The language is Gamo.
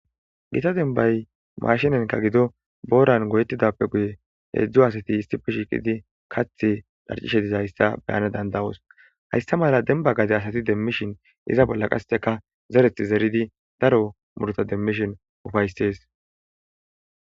Gita denbay mashinenka gido booran goyetidappe guye heedzdzo asati istipe shiqidi kath lharcishe dizayssa beyana dandawos haysta mala denba gaze asati demmishin iza bolla qasteka zereth zeridi daro murta demmishin ufaysees.